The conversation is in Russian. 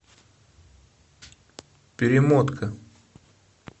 перемотка